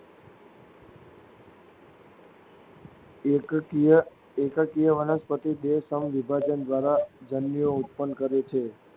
એકકીય એકકીય વનસ્પતિ દેહ સમવિભાજન દ્વારા જન્યુઓ ઉત્પન્ન કરે છે.